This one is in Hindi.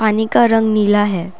पानी का रंग नीला है।